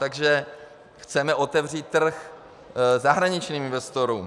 Takže chceme otevřít trh zahraničním investorům.